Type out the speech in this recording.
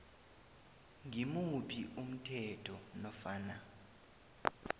ngimuphi umthetho nofana